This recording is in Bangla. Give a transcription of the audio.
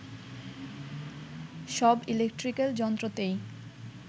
সব ইলেকট্রিকাল যন্ত্রতেই